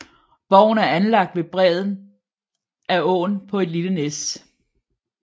Borgen er anlagt ved bredden af åen på et lille næs